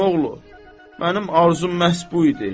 Əmioğlu, mənim arzum məhz bu idi.